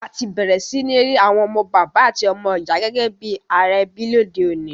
A ti bẹ̀rẹ̀ si ni ri àwon ọmọ bàbá àti ọmọ ìyà gẹ́gẹ́ bi ara ebí lodeọ̀ní